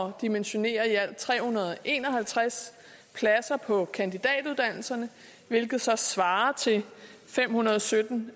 at dimensionere i alt tre hundrede og en og halvtreds pladser på kandidatuddannelserne hvilket så svarer til fem hundrede og sytten